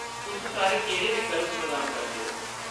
तुस सारे केह्ड़े विकल्प प्रदान करदे ओ ?